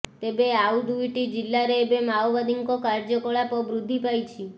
ତେବେ ଆଉ ଦୁଇଟି ଜିଲ୍ଲାରେ ଏବେ ମାଓବାଦୀଙ୍କ କାର୍ଯ୍ୟକଳାପ ବୃଦ୍ଧି ପାଇଛି